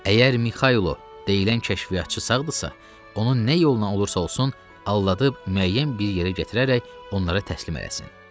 Əgər Mixaylo deyilən kəşfiyyatçı sağdırsa, onu nə yoluna olursa olsun, aldadıb müəyyən bir yerə gətirərək onlara təslim eləsin.